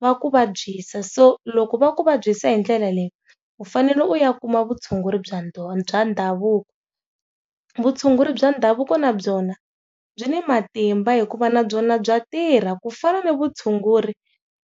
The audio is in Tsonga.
va ku vabyisa so loko va ku vabyisa hi ndlela leyi u fanele u ya kuma vutshunguri bya ndhavuko bya ndhavuko vutshunguri bya ndhavuko na byona byi ni matimba hikuva na byona bya tirha ku fana na vutshunguri